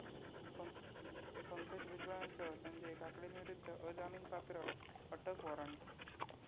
पंकज भुजबळांसह संजय काकडेंविरुद्ध अजामीनपात्र अटक वॉरंट